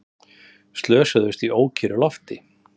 Slösuðust í ókyrru lofti